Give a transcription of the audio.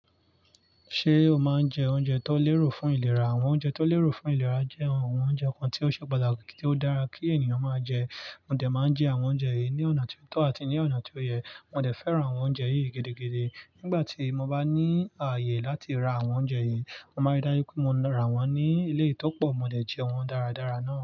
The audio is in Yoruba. Ṣé o máa ń jẹ oúnjẹ tó lérò fún ìlera? Àwọn oúnjẹ tó lérò fún ìlera jẹ́ ohun oúnjẹ kan tí ó ṣe pàtàkì tí ó dára kí ènìyàn máa jẹ. Mò dẹ̀ máa ń jẹ àwọn oúnjẹ yìí ní ọ̀nà tí ó tọ́ àti ní ọ̀nà tí ó yẹ. Mò dẹ̀ fẹ́ràn àwọn oúnjẹ yìí gidigidi. Nígbà tí mo bá ní ààyè láti ra àwọn oúnjẹ yìí, mo máa n rí dájú wípé mo rà wọ́n ní eléyi ìtọ́pọ̀, mo dẹ̀ jẹ wọ́n dáradára náà.